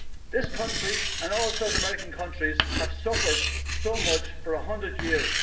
This country, and all South American countries, have suffered so much for a hundred years.